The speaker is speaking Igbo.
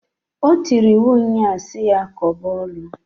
O tiri iwu nnyaa si ya koba ọlụǃ